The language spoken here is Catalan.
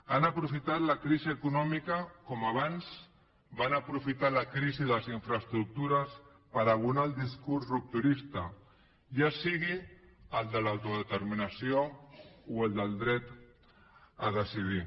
han aprofitat la crisi econòmica com abans van aprofitar la crisi de les infraestructures per abonar el discurs rupturista ja sigui el de l’autodeterminació o el del dret a decidir